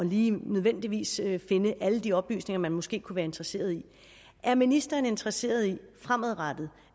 lige nødvendigvis at finde alle de oplysninger man måske kunne være interesseret i er ministeren interesseret i at vi fremadrettet